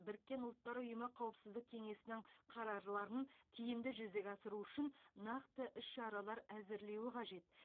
біріккен ұлттар ұйымы қауіпсіздік кеңесінің қарарларын тиімді жүзеге асыру үшін нақты іс шаралар әзірлеуі қажет